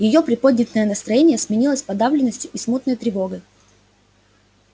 её приподнятое настроение сменилось подавленностью и смутной тревогой